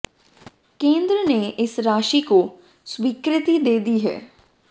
केंद्र ने इस राशि को स्वीकृति दे दी है